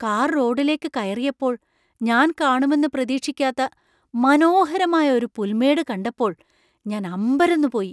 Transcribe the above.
Car റോഡിലേക്ക് കയറിയപ്പോൾ ഞാൻ കാണുമെന്ന് പ്രതീക്ഷിക്കാത്ത മനോഹരമായ ഒരു പുൽമേട് കണ്ടപ്പോൾ ഞാൻ അമ്പരന്നു പോയി .